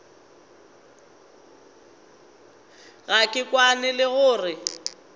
ga ke kwane le gore